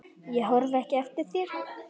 Ég horfi ekki eftir þér.